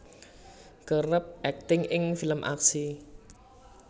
kerep akting ing film aksi